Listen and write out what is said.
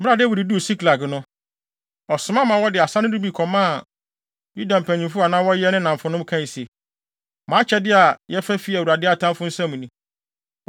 Bere a Dawid duu Siklag no, ɔsoma ma wɔde asade no bi kɔmaa Yuda mpanyimfo a na wɔyɛ ne nnamfonom kae se, “Mo akyɛde a yɛfa fi Awurade atamfo nsam ni.”